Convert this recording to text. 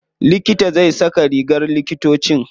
Likitan zai saka rigar likitoci.